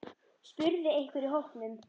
spurði einhver í hópnum.